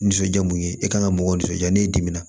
Nisɔndiya mun ye e kan ka mɔgɔw nisɔndiya n'i dimina